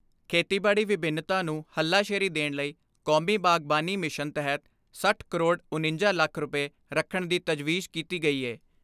ਖੇਤੀਬਾੜੀ ਵਿੰਭਿੰਨਤਾ ਨੂੰ ਹੱਲਾਸ਼ੇਰੀ ਦੇਣ ਲਈ ਕੌਮੀ ਬਾਗ਼ਬਾਨੀ ਮਿਸ਼ਨ ਤਹਿਤ ਸੱਠ ਕਰੋੜ ਉਣੰਜਾ ਲੱਖ ਰੁਪਏ ਰੱਖਣ ਦੀ ਤਜਵੀਜ਼ ਕੀਤੀ ਗਈ ਏ।